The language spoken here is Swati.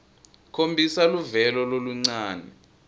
khombisa luvelo loluncane